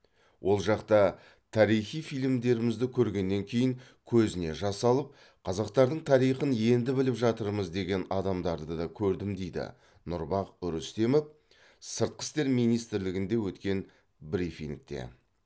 ол жақта тарихи фильмдерімізді көргеннен кейін көзіне жас алып қазақтардң тарихын енді біліп жатырмыз деген адамдарды да көрдім дейді нұрбах рүстемов сыртқы істер министрлігінде өткен брифингте